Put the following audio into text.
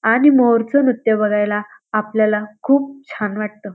आणि मोर च नृत्य बघायला आपल्याला खूप छान वाटत.